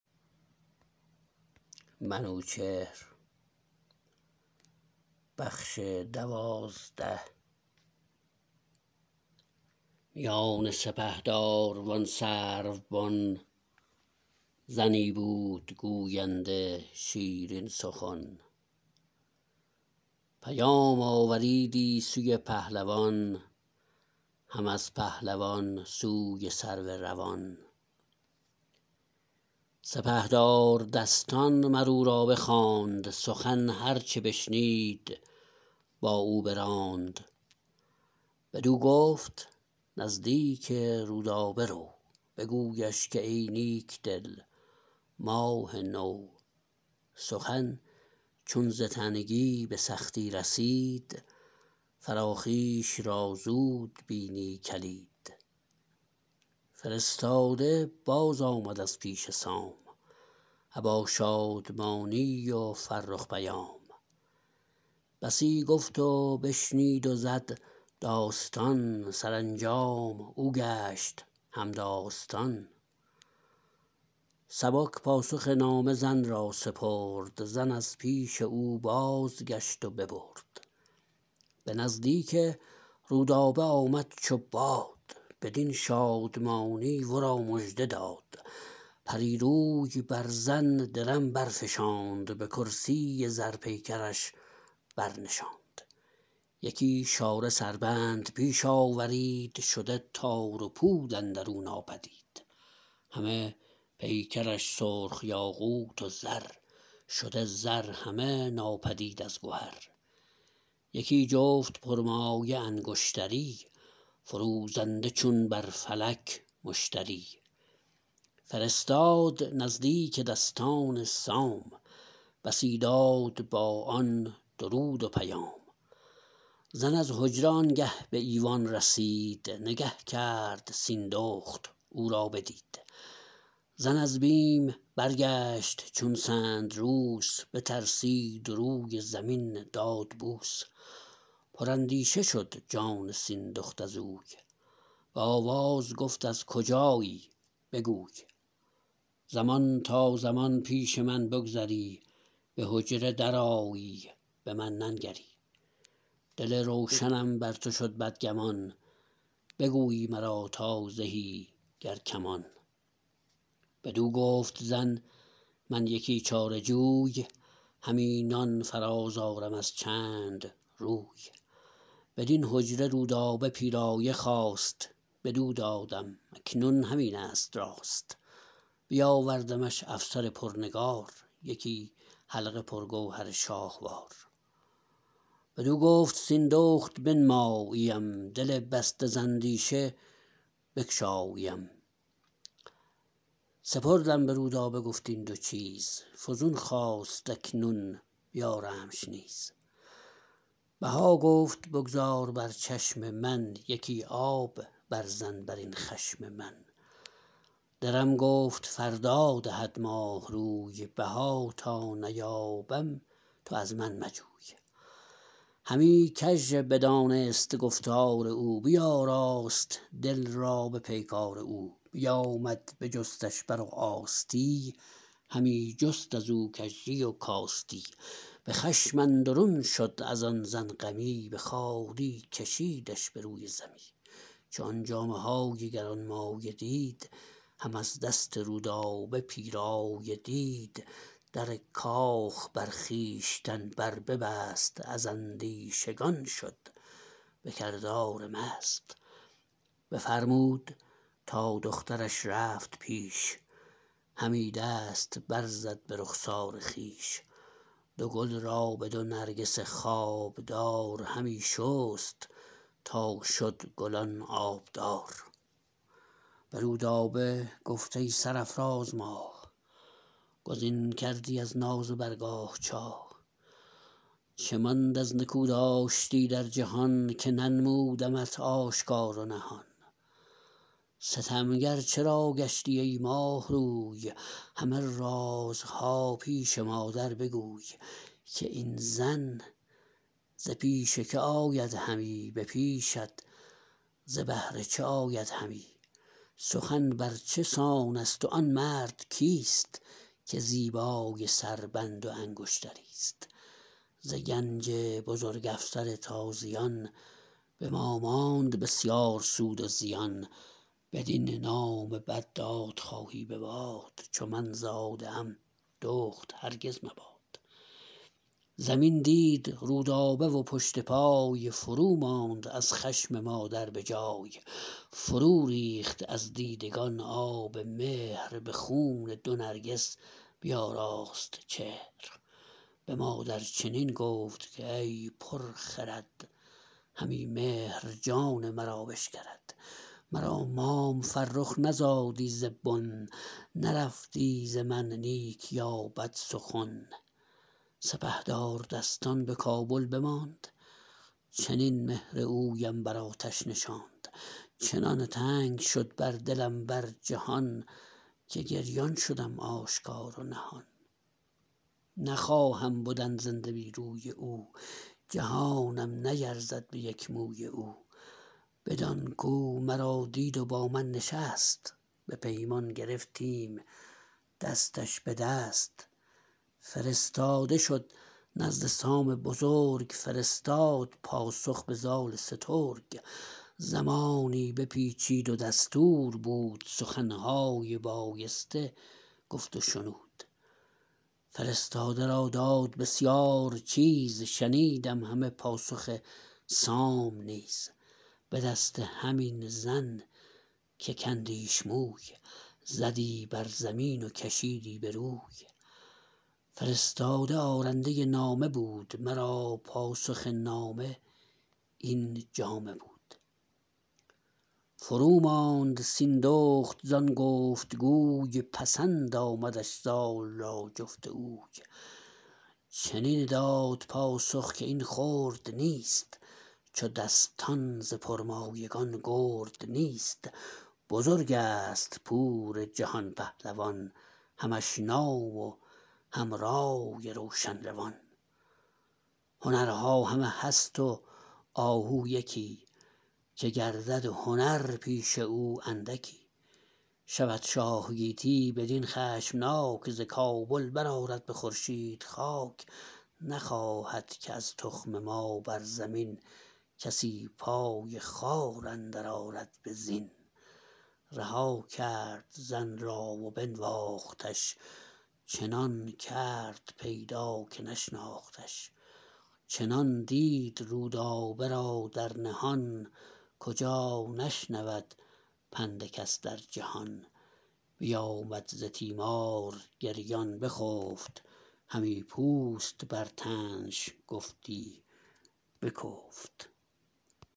میان سپهدار و آن سرو بن زنی بود گوینده شیرین سخن پیام آوریدی سوی پهلوان هم از پهلوان سوی سرو روان سپهدار دستان مر او را بخواند سخن هر چه بشنید با او براند بدو گفت نزدیک رودابه رو بگویش که ای نیک دل ماه نو سخن چون ز تنگی به سختی رسید فراخیش را زود بینی کلید فرستاده باز آمد از پیش سام ابا شادمانی و فرخ پیام بسی گفت و بشنید و زد داستان سرانجام او گشت همداستان سبک پاسخ نامه زن را سپرد زن از پیش او بازگشت و ببرد به نزدیک رودابه آمد چو باد بدین شادمانی ورا مژده داد پری روی بر زن درم برفشاند به کرسی زر پیکرش برنشاند یکی شاره سربند پیش آورید شده تار و پود اندرو ناپدید همه پیکرش سرخ یاقوت و زر شده زر همه ناپدید از گهر یکی جفت پر مایه انگشتری فروزنده چون بر فلک مشتری فرستاد نزدیک دستان سام بسی داد با آن درود و پیام زن از حجره آنگه به ایوان رسید نگه کرد سیندخت او را بدید زن از بیم برگشت چون سندروس بترسید و روی زمین داد بوس پر اندیشه شد جان سیندخت ازوی به آواز گفت از کجایی بگوی زمان تا زمان پیش من بگذری به حجره درآیی به من ننگری دل روشنم بر تو شد بدگمان بگویی مرا تا زهی گر کمان بدو گفت زن من یکی چاره جوی همی نان فراز آرم از چند روی بدین حجره رودابه پیرایه خواست بدو دادم اکنون همینست راست بیاوردمش افسر پرنگار یکی حلقه پرگوهر شاهوار بدو گفت سیندخت بنمایی ام دل بسته ز اندیشه بگشایی ام سپردم به رودابه گفت این دو چیز فزون خواست اکنون بیارمش نیز بها گفت بگذار بر چشم من یکی آب بر زن برین خشم من درم گفت فردا دهد ماه روی بها تا نیابم تو از من مجوی همی کژ دانست گفتار او بیاراست دل را به پیکار او بیامد بجستش بر و آستی همی جست ازو کژی و کاستی به خشم اندرون شد ازان زن غمی به خواری کشیدش بروی زمی چو آن جامه های گرانمایه دید هم از دست رودابه پیرایه دید در کاخ بر خویشتن بر ببست از اندیشگان شد به کردار مست بفرمود تا دخترش رفت پیش همی دست برزد به رخسار خویش دو گل را به دو نرگس خوابدار همی شست تا شد گلان آبدار به رودابه گفت ای سرافراز ماه گزین کردی از ناز برگاه چاه چه ماند از نکو داشتی در جهان که ننمودمت آشکار و نهان ستمگر چرا گشتی ای ماه روی همه رازها پیش مادر بگوی که این زن ز پیش که آید همی به پیشت ز بهر چه آید همی سخن بر چه سانست و آن مرد کیست که زیبای سربند و انگشتریست ز گنج بزرگ افسر تازیان به ما ماند بسیار سود و زیان بدین نام بد دادخواهی به باد چو من زاده ام دخت هرگز مباد زمین دید رودابه و پشت پای فرو ماند از خشم مادر به جای فرو ریخت از دیدگان آب مهر به خون دو نرگس بیاراست چهر به مادر چنین گفت کای پر خرد همی مهر جان مرا بشکرد مرا مام فرخ نزادی ز بن نرفتی ز من نیک یا بد سخن سپهدار دستان به کابل بماند چنین مهر اویم بر آتش نشاند چنان تنگ شد بر دلم بر جهان که گریان شدم آشکار و نهان نخواهم بدن زنده بی روی او جهانم نیرزد به یک موی او بدان کو مرا دید و بامن نشست به پیمان گرفتیم دستش بدست فرستاده شد نزد سام بزرگ فرستاد پاسخ به زال سترگ زمانی بپیچید و دستور بود سخنهای بایسته گفت و شنود فرستاده را داد بسیار چیز شنیدم همه پاسخ سام نیز به دست همین زن که کندیش موی زدی بر زمین و کشیدی به روی فرستاده آرنده نامه بود مرا پاسخ نامه این جامه بود فروماند سیندخت زان گفت گوی پسند آمدش زال را جفت اوی چنین داد پاسخ که این خرد نیست چو دستان ز پرمایگان گرد نیست بزرگست پور جهان پهلوان همش نام و هم رای روشن روان هنرها همه هست و آهو یکی که گردد هنر پیش او اندکی شود شاه گیتی بدین خشمناک ز کابل برآرد به خورشید خاک نخواهد که از تخم ما بر زمین کسی پای خوار اندر آرد به زین رها کرد زن را و بنواختش چنان کرد پیدا که نشناختش چنان دید رودابه را در نهان کجا نشنود پند کس در جهان بیامد ز تیمار گریان بخفت همی پوست بر تنش گفتی بکفت